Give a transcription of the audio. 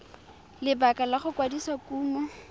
lebaka la go kwadisa kumo